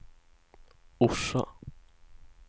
Orsa